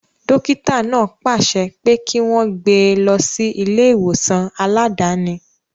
Dókítà náà pàṣẹ pé kí wọ́n gbé e lọ sí ilé ìwòsàn aláàdáni